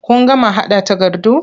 Kun gama haɗa takardun?